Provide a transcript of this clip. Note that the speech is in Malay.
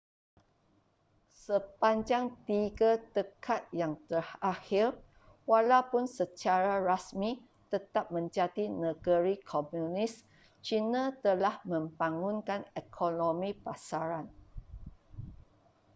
sepanjang tiga dekad yang terakhir walaupun secara rasmi tetap menjadi negeri komunis cina telah membangunkan ekonomi pasaran